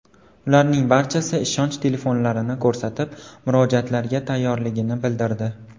Ularning barchasi ishonch telefonlarini ko‘rsatib, murojaatlarga tayyorligini bildirdi.